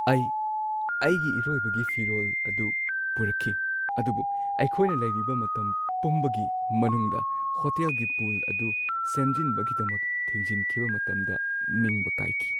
ꯑꯩ ꯑꯩꯒꯤ ꯏꯔꯣꯏꯕꯒꯤ ꯐꯤꯔꯣꯜ ꯑꯗꯨ ꯄꯨꯔꯛꯈꯤ ꯑꯗꯨꯕꯨ ꯑꯩꯈꯣꯏꯅ ꯂꯩꯔꯤꯕ ꯃꯇꯝ ꯄꯨꯝꯕꯒꯤ ꯃꯅꯨꯡꯗ ꯍꯣꯇꯦꯜꯒꯤ ꯄꯨꯜ ꯑꯗꯨ ꯁꯦꯝꯖꯤꯟꯕꯒꯤꯗꯃꯛ ꯊꯤꯡꯖꯤꯟꯈꯤꯕ ꯃꯇꯝꯗ ꯅꯤꯡꯕ ꯀꯥꯏꯈꯤ꯫